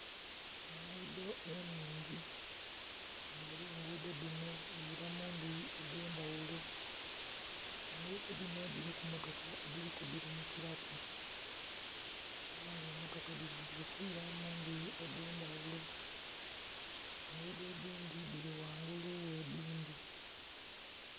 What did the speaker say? Enguudho ennhingi, ela enguudho dhino dhiila mu ndhuyi edh'endhaghulo. Enguudho dhino dhiliku mmotoka edhili kudhilumukilaku. Ela nga emmotoka dhili kwila mu ndhuyi edh'endhaghulo. Enguudho edhindhi dhili ghangulu ghe dhindhi.